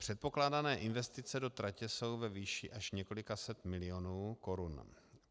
Předpokládané investice do tratě jsou ve výši až několika set milionů korun.